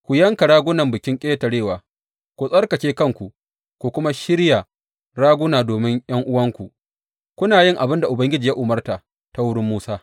Ku yanka ragunan Bikin Ƙetarewa, ku tsarkake kanku, ku kuma shirya raguna domin ’yan’uwanku, kuna yin abin da Ubangiji ya umarta ta wurin Musa.